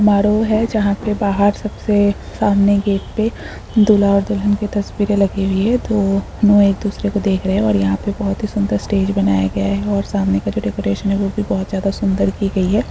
मारो है जहाँ पे बाहर सब से सामने गेट पे दूल्हा और दुल्हन की तस्वीरें लगी हुई है। दोनो एक दूसरे को देख रहे हैं और यहाँ पे बहुत ही सुन्दर स्टेज बनाया गया है और सामने का जो डेकोरेशन है। वह भी बहुत ज्यादा सुन्दर की गयी है।